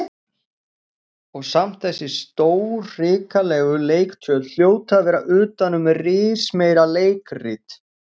Og samt þessi stórhrikalegu leiktjöld hljóta að vera utan um rismeira leikrit.